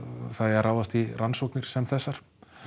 það eigi að ráðast í rannsóknir sem þessar